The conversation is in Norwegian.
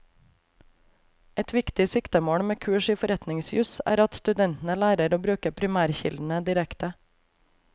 Et viktig siktemål med kurs i forretningsjus er at studentene lærer å bruke primærkildene direkte.